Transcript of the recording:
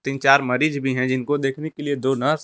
तीन चार मरीज भी है जिनको देखने के लिए दो नर्स --